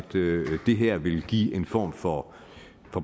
det her vil give en form for